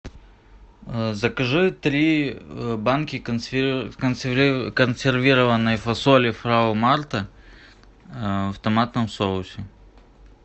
закажи три банки консервированной фасоли фрау марта в томатном соусе